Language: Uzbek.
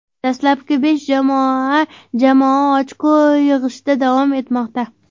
Dastlabki besh jamoa jamoa ochko yig‘ishda davom etmoqda.